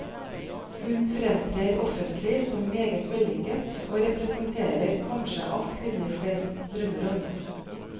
Hun fremtrer offentlig som meget vellykket og representerer kanskje alt kvinner flest drømmer om.